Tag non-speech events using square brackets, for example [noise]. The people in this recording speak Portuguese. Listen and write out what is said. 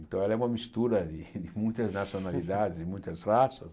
Então ela é uma mistura de de muitas nacionalidades, [laughs] de muitas raças.